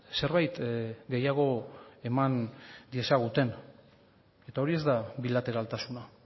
zerbait gehiago eman diezaguten eta hori ez da bilateraltasuna